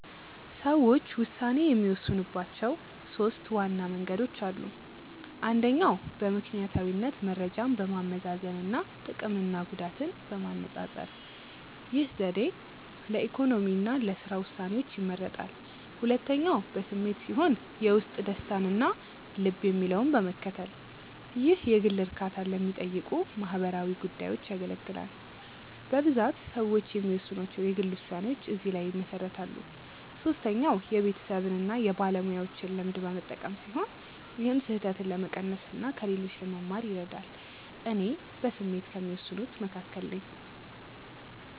ሰዎች ውሳኔ የሚወስኑባቸው ሦስት ዋና መንገዶች አሉ። አንደኛው በምክንያታዊነት መረጃን በማመዛዘን እና ጥቅምና ጉዳትን በማነፃፀር። ይህ ዘዴ ለኢኮኖሚ እና ለሥራ ውሳኔዎች ይመረጣል። ሁለተኛው በስሜት ሲሆን የውስጥ ደስታን እና ልብ የሚለውን በመከተል። ይህ የግል እርካታን ለሚጠይቁ ማህበራዊ ጉዳዮች ያገለግላል። በብዛት ሰዎች የሚወስኗቸው የግል ውሳኔዎች እዚህ ላይ ይመሰረታሉ። ሶስተኛው የቤተሰብን እና የባለሙያዎችን ልምድ በመጠቀም ሲሆን ይህም ስህተትን ለመቀነስ እና ከሌሎች ለመማር ይረዳል። እኔ በስሜት ከሚወስኑት መካከል ነኝ።